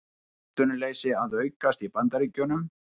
Atvinnuleysi að aukast í Bandaríkjunum